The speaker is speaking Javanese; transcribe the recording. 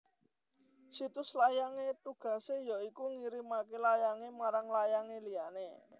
Situs layang e tugase ya iku ngirimake layang e marang layang e liyane